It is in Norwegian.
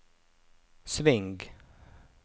sving